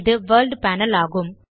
இது world panel ஆகும்